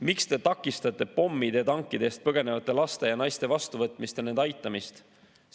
Miks te takistate pommide ja tankide eest põgenevate laste ja naiste vastuvõtmist ja nende aitamist?